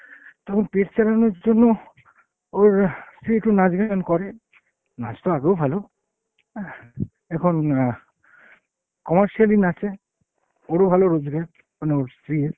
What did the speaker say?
তখন পেট চালানোর জন্য ওর স্ত্রী একটু নাচ গান করে। নাচতো আগেও ভালো, এখন অ্যাঁ commercially নাচে। ওর ও ভালো রোজগার, মানে ওর স্ত্রী এর।